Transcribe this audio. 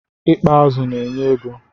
I kpa azụ na-enye ego.